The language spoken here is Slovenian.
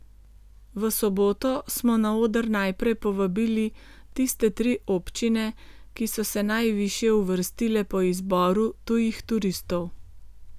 V soboto smo na oder najprej povabili tiste tri občine, ki so se najvišje uvrstile po izboru tujih turistov.